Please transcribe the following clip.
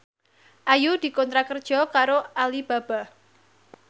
Ayu dikontrak kerja karo Alibaba